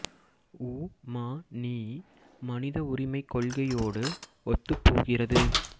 உ ம நீ மனித உரிமை கொள்கையோடு ஒத்துப் போகிறது